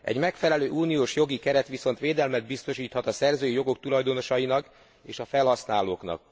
Egy megfelelő uniós jogi keret viszont védelmet biztosíthat a szerzői jogok tulajdonosainak és a felhasználóknak.